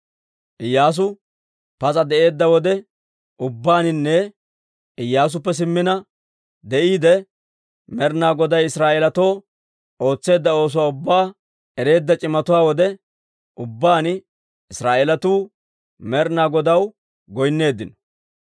Iyyaasu pas'a de'eedda wode ubbaaninne Iyyaasuppe simmina de'iide, Med'ina Goday Israa'eelatoo ootseedda oosuwaa ubbaa ereedda c'imatuwaa wode ubbaan Israa'eelatuu Med'ina Godaw goynneeddino.